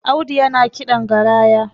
Audu yana kiɗan garaya